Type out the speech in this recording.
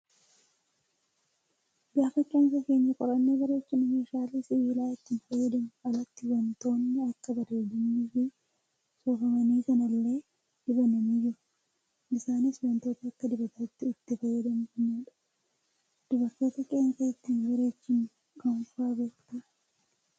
Gaafa qeensa keenya qorannee bareechinu meeshaalee sibiilaa ittiin fayyadamuun alatti wantoonni Akka bareedanii fi soofamaniif sanallee dibannu ni jiru. Isaanis wantoota akka dibataatti itti fayyadamnudha. Dubaroota qeensa ittiin bareechinu kam beektaa?